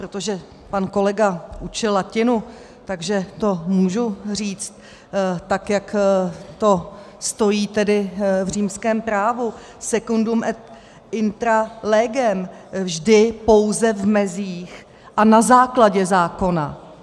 Protože pan kolega učil latinu, takže to můžu říct tak, jak to stojí tedy v římském právu: secundum et intra legem - vždy pouze v mezích a na základě zákona.